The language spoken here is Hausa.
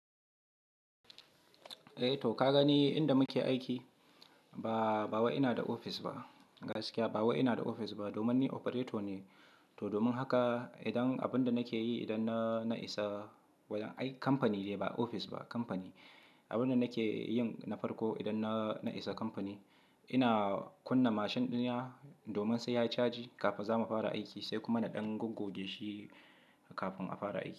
Eh to ka gani inda muke aiki, ba, ba wai ina da ofis ba gaskiya ba wai ina da ofis ba domin ni operator ne. To domin haka idan abin da nake yi idan na, na isa wajen ai kamfani dai ba ofis ba kamfani. Abin da nake yin na farko idan na, na isa kamfani, ina kunna mashin ɗinna domin sai yayi chaji kafin za mu fara aiki sai kuma na ɗan gogoge shi kafin a fara aiki.